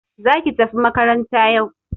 Za ki tafi makaranta yau!